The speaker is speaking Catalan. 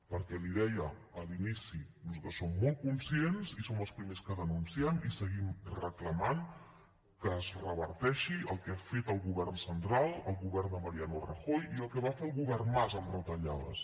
perquè l’hi deia a l’inici nosaltres som molt conscients i som els primers que denunciem i seguim reclamant que es reverteixi el que ha fet el govern central el govern de mariano rajoy i el que va fer el govern mas amb retallades